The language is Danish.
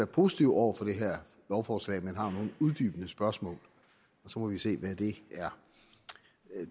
positive over for det her lovforslag men har nogle uddybende spørgsmål så må vi se hvad det er